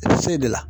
I bɛ se de la